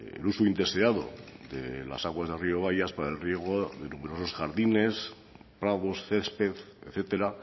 el uso indeseado de las aguas de rio bayas por el riego de numerosos jardines prados césped etcétera